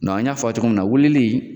an y'a fɔ a ye cogoya min na weleli.